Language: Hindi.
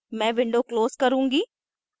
मैं window close करुँगी